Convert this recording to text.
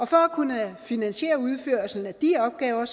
for at kunne finansiere udførelsen af de opgaver